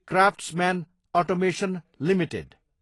craftsman automation Ltd